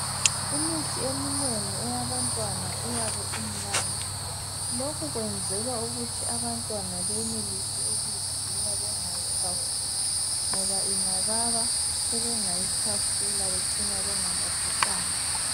Imithi eminengi eyabantwana iyabe imnandi lokhu kwenzelwa ukuthi abantwana benelise ukuyiginya bengayikhafuli ngoba ingababa sebengayikhafula becine bengalaphekanga.